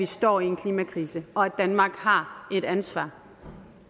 står i en klimakrise og at danmark har et ansvar